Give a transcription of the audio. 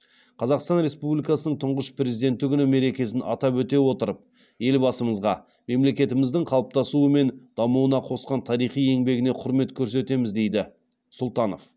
қазақстан республикасының тұңғыш президенті күні мерекесін атап өте отырып елбасымызға мемлекетіміздің қалыптасуы мен дамуына қосқан тарихи еңбегіне құрмет көрсетеміз дейді сұлтанов